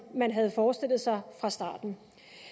man havde forestillet sig fra starten